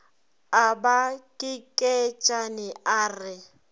a ba kekeetšane a re